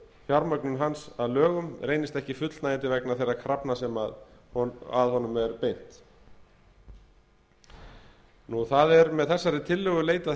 fjármögnun hans að lögum reynist ekki fullnægjandi vegna þeirra krafna sem að honum er beint það er með þessari tillögu leitað